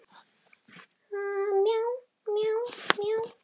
Skuggalega snöggklæddar konur upp um alla veggi.